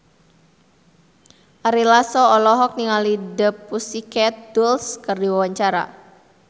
Ari Lasso olohok ningali The Pussycat Dolls keur diwawancara